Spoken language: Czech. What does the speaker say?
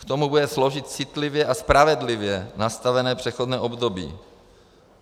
K tomu bude sloužit citlivě a spravedlivě nastavené přechodné období.